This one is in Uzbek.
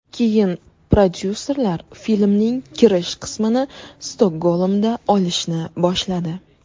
Keyin prodyuserlar filmning kirish qismini Stokgolmda olishni boshladi.